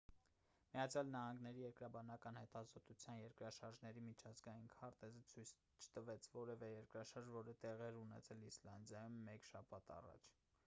միացյալ նահանգների երկրաբանական հետազոտության երկրաշարժերի միջազգային քարտեզը ցույց չտվեց որևէ երկրաշարժ որը տեղի էր ունեցել իսլանդիայում մեկ շաբաթ առաջ